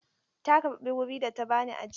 Ta karɓi wuri da ta ba ni ajiya.